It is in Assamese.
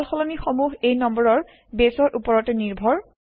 সাল সলনি সমূহ এই নম্বৰৰ বেছৰ ওপৰতে নিৰ্ভৰ